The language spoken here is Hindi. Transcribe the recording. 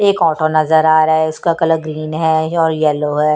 एक ऑटो नजर आ रहा है उसका कलर ग्रीन है और यलो है।